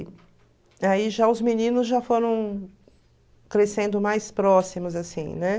aí já os meninos já foram crescendo mais próximos, assim, né?